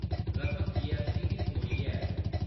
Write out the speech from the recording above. रकम जीऐस्सटी गी छोड़ियै ऐ।